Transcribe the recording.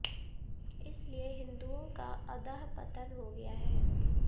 इसलिए हिन्दुआें का अधःपतन हो गया है